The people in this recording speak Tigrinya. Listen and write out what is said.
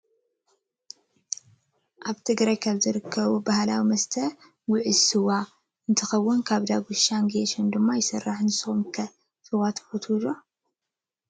ኣብ ትግራይ ካብ ዝርከቡ ባህላዊ መስተ ኩዕሽ ስዋ እንትከውን ካብ ዳጉሻን ጌሾን ድማ ይስራሕ። ንስኩም ከ ስዋ ምስታይ ትፈትው ዶ ?